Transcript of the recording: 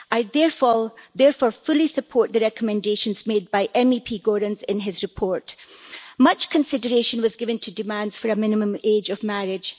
I therefore fully support the recommendations made by MEP Goerens in his report. Much consideration was given to demands for a minimum age of marriage.